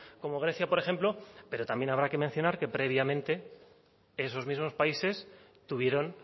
como grecia por ejemplo pero también habrá que mencionar que previamente esos mismos países tuvieron